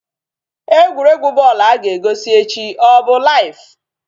Egwuregwu bọl a ga-egosi echi ọ bụ laiv?